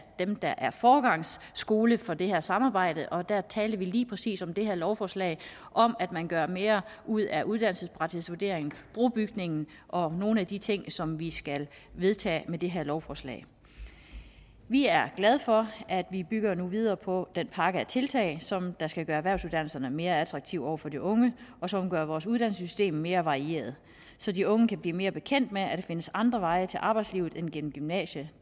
dem der er foregangsskole for det her samarbejde og der talte vi lige præcis om det her lovforslag om at man gør mere ud af uddannelsespraksisvurderingen brobygningen og nogle af de ting som vi skal vedtage med det her lovforslag vi er glade for at vi bygger videre på den pakke af tiltag som skal gøre erhvervsuddannelserne mere attraktive over for de unge og som gør vores uddannelsessystem mere varieret så de unge kan blive mere bekendt med at findes andre veje til arbejdslivet end gennem gymnasiet